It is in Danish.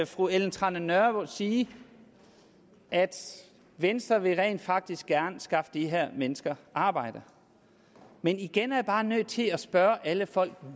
fru ellen trane nørby sige at venstre rent faktisk gerne vil skaffe de her mennesker arbejde men igen er jeg bare nødt til at spørge alle folk